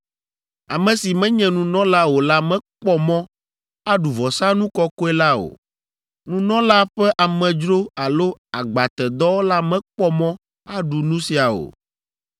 “ ‘Ame si menye nunɔla o la mekpɔ mɔ aɖu vɔsanu kɔkɔe la o. Nunɔla ƒe amedzro alo agbatedɔwɔla mekpɔ mɔ aɖu nu sia o.